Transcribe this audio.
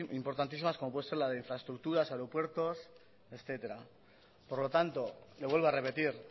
importantísimas como puede ser la de infraestructuras aeropuertos etcétera por lo tanto lo vuelvo a repetir